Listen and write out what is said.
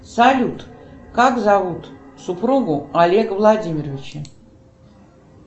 салют как зовут супругу олега владимировича